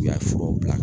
I y'a furaw bila